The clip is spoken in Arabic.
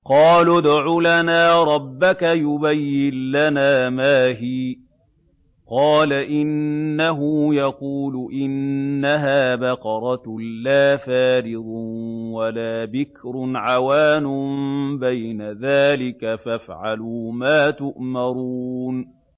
قَالُوا ادْعُ لَنَا رَبَّكَ يُبَيِّن لَّنَا مَا هِيَ ۚ قَالَ إِنَّهُ يَقُولُ إِنَّهَا بَقَرَةٌ لَّا فَارِضٌ وَلَا بِكْرٌ عَوَانٌ بَيْنَ ذَٰلِكَ ۖ فَافْعَلُوا مَا تُؤْمَرُونَ